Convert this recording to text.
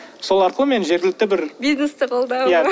сол арқылы мен жергілікті бір бизнесті қолдау иә